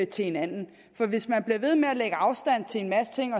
til hinanden for hvis man bliver ved med at lægge afstand til en masse ting